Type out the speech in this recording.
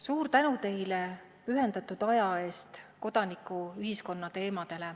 Suur tänu teile kodanikuühiskonna teemadele pühendatud aja eest!